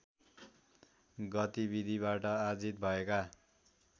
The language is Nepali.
गतिविधिबाट आजित भएका